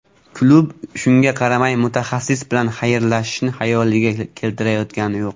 Klub shunga qaramay mutaxassis bilan xayrlashishni xayoliga keltirayotgani yo‘q.